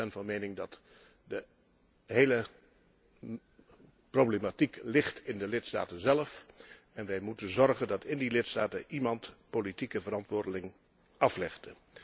Ik ben van mening dat de hele problematiek in de lidstaten zelf ligt en wij moeten zorgen dat in die lidstaten iemand politieke verantwoording aflegt.